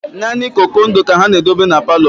Nani okoko ndụ ka ha na-edobe n'palo